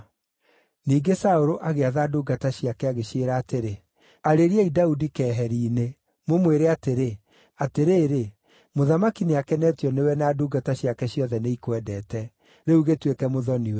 Ningĩ Saũlũ agĩatha ndungata ciake, agĩciĩra atĩrĩ, “Arĩriai Daudi keheri-inĩ, mũmwĩre atĩrĩ, ‘Atĩrĩrĩ, mũthamaki nĩakenetio nĩwe na ndungata ciake ciothe nĩikwendete; rĩu gĩtuĩke mũthoni-we.’ ”